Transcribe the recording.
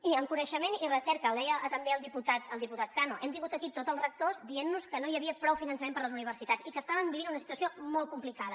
i en coneixement i recerca ho deia també el diputat cano hem tingut aquí tot els rectors dient nos que no hi havia prou finançament per a les universitats i que estaven vivint una situació molt complicada